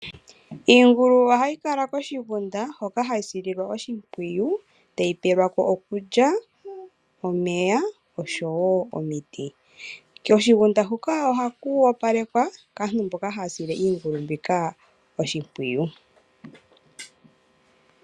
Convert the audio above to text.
Iingulu ohayi kala koshigunda hoka hayi sililwa oshimpwiyu, ohayi pewelwako okulya, omeya nosho woo omiti. Koshigunda huka ohaku opalekwa kaantu mboka haya sile iingulu oshimpwiyu.